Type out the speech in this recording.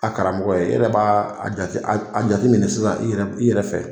A karamɔgɔ ye e yɛrɛ b'a jate a jateminɛ sisan e yɛrɛ fɛ.